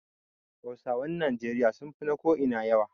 Hausawan Nijeriya sun fi na ko'ina yawa.